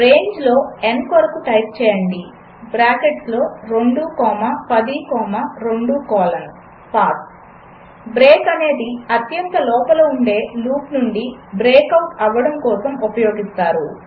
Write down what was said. రేంజ్లో n కొరకు type చేయండి బ్రాకెట్స్ లో 2 comma 10 comma 2 colon P A S S break అనేది అత్యంత లోపల ఉండే లూప్నుండి బ్రేక్ ఔట్ అవ్వడం కోసం ఉపయోగిస్తారు